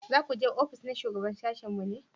za ku je ofis na shugaban sashin mu ne?